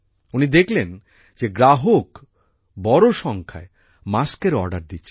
উনি দেখলেন যে গ্রাহক বড় সংখ্যায় মাস্ক এর অর্ডার দিচ্ছে